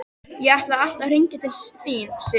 Ég ætlaði alltaf að hringja til þín, Sif.